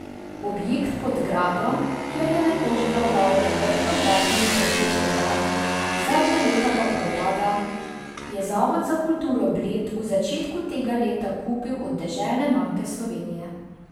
Objekt pod gradom, kjer je nekoč delovalo obrtno gradbeno podjetje Grad, zadnja leta pa propada, je Zavod za kulturo Bled v začetku tega leta kupil od Deželne banke Slovenije.